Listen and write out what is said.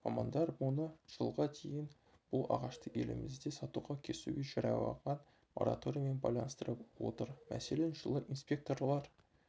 мамандар мұны жылға дейін бұл ағашты елімізде сатуға кесуге жарияланған мораториймен байланыстырып отыр мәселен жылы инспекторлар